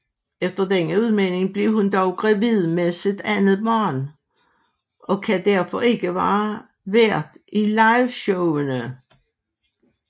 Efter denne udmelding blev hun dog gravid med sit andet barn og kan derfor ikke være vært i liveshowene